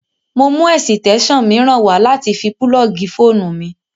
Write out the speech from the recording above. Mo mú ẹ̀sìtẹ́ṣàn mìíràn wá láti fi púlọ́ọ̀gì fóònù mi